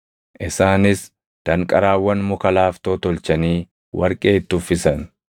Isaanis danqaraawwan muka laaftoo tolchanii warqee itti uffisan.